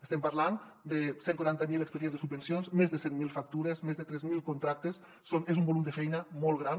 estem parlant de cent i quaranta miler expedients de subvencions més de cent mil factures més de tres mil contractes és un volum de feina molt gran